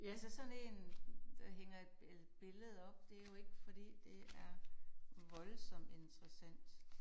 Altså sådan én der hænger et billede op det jo ikke fordi det er voldsomt interessant